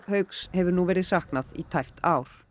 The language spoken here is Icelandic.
hauks hefur nú verið saknað í tæpt ár